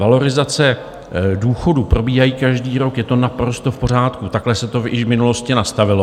Valorizace důchodů probíhají každý rok, je to naprosto v pořádku, takhle se to již v minulosti nastavilo.